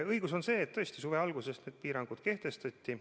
Õige on see, et suve alguses need piirangud tõesti kehtestati.